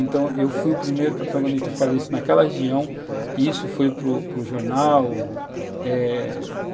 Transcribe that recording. Então, eu fui o primeiro protagonista a fazer isso naquela região e isso foi para para o jornal, eh